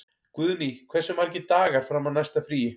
Guðný, hversu margir dagar fram að næsta fríi?